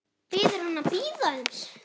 Biður hann að bíða aðeins.